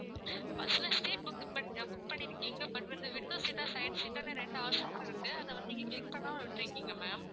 bus ல seat book க்கு பண்ணி book பண்ணிருக்கீங்க but வந்து window seat டா side seat டான்னு ரெண்டு option இருக்கு. அதை வந்து நீங்க click பண்ணமா விட்டுருக்கீங்க ma'am